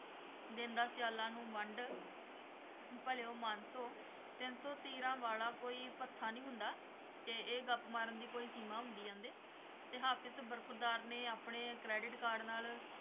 ਦੇਂਦਾ ਸਿਆਲਾਂ ਨੂੰ ਵੰਡ ਭਲਿਓ ਮਾਨਸੋ, ਤਿੰਨ ਸੌ ਤੀਰਾਂ ਵਾਲਾ ਕੋਈ ਭੱਥਾ ਨਹੀਂ ਹੁੰਦਾ ਤੇ ਇਹ ਗੱਪ ਮਾਰਨ ਦੀ ਕੋਈ ਸੀਮਾ ਹੁੰਦੀ ਕਹਿੰਦੇ, ਤੇ ਹਾਫ਼ਿਜ਼ ਬਰਖ਼ੁਰਦਾਰ ਨੇ ਆਪਣੇ credit card ਨਾਲ